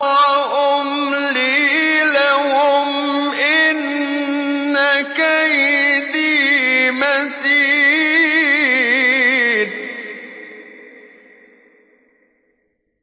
وَأُمْلِي لَهُمْ ۚ إِنَّ كَيْدِي مَتِينٌ